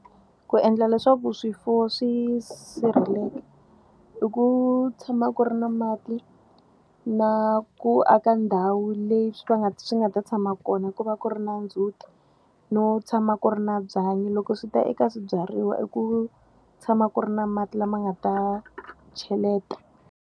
Ku endla leswaku swifuwo swi sirheleka i ku tshama ku ri na mati na ku aka ndhawu leyi swi nga ta tshama kona, ku va ku ri na ndzhuti, no tshama ku ri na byanyi. Loko swi ta eka swibyariwa i ku tshama ku ri na mati lama nga ta cheleta.